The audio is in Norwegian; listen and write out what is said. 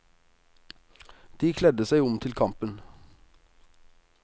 De kledde seg om til kampen.